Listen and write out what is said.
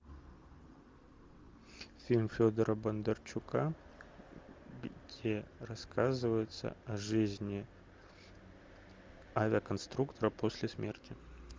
фильм федора бондарчука где рассказывается о жизни авиаконструктора после смерти